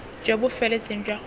jo bo feletseng jwa gore